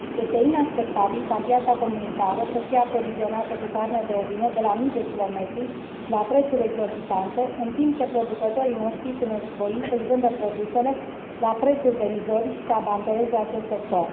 Este inacceptabil ca piața comunitară să fie aprovizionată cu carne de ovine de la mii de kilometri și la prețuri exorbitante, în timp ce producătorii noștri sunt nevoiți să și vândă produsele la prețuri derizorii si să abandoneze acest sector.